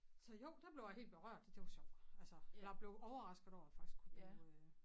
Så jo der blev jeg helt berørt det var sjovt altså jeg blev overrasket over jeg faktisk kunne blive øh